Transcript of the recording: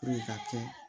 ka kɛ